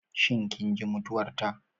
Shin kin ji mutuwar ta?